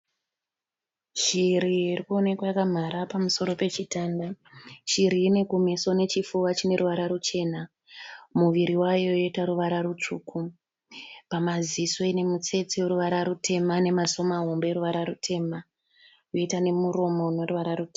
Chiri irikuwonekwa yakamhara pamusoro pechitanda chiri iyi inekume nechifuba chineruvara ruchena muviri mayo yoita ruvara rusvuku pamaziso ine mutsetse weruvara rutema ,nwmaziso mahombe aneruvara rutema, yoita nemuromo weruvara rutema.